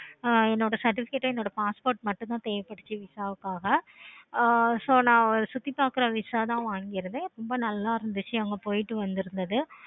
ஆஹ் என்னோட certificate என்னோட passport மட்டும் தான் VISA காக so நா சுத்தி பார்க்க VISA தான் வாங்கி இருந்தேன். ரொம்ப நல்ல இருந்துச்சி. அங்க போயிட்டு வந்திருந்தது